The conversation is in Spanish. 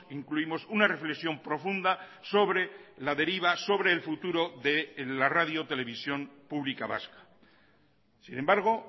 incluimos una reflexión profunda sobre la deriva sobre el futuro de la radio televisión pública vasca sin embargo